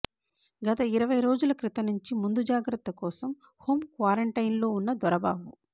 గత ఇరవై రోజుల క్రితం నుంచి ముందు జాగ్రత్తకోసం హోం క్వారంటైన్ లో వున్న దొరబాబు